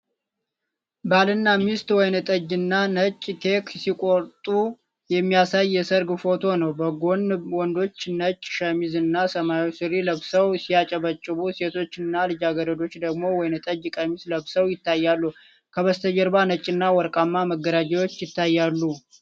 ባልና ሚስት ወይንጠጅ እና ነጭ ኬክ ሲቆርጡ የሚያሳይ የሰርግ ፎቶ ነው። በጎን ወንዶች ነጭ ሸሚዝ እና ሰማያዊ ሱሪ ለብሰው ሲያጨበጭቡ፣ ሴቶችና ልጃገረዶች ደግሞ ወይንጠጅ ቀሚስ ለብሰው ይታያሉ። ከበስተጀርባ ነጭና ወርቃማ መጋረጃዎች ይታያሉ።